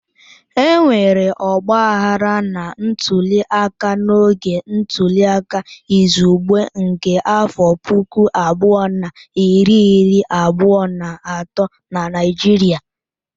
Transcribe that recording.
Enwere ọgbaghara na ntuliaka n'oge ntuliaka izugbe nke afọ puku abụọ na iri iri abụọ na atọ na Naịjirịa.